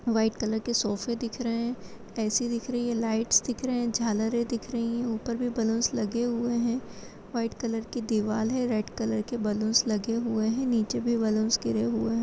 White colour के सोफ़े दिख रहे है ऐ.सी. दिख रही है लाइट दिख रही है झालरे दिख रही है ऊपर भी बैलून्स लगे हुए हैं व्हाइट कलर की दीवाल है रेड कलर की बैलून्स लगे हुए हैं नीचे भी बैलून्स गिरे हुए हैं।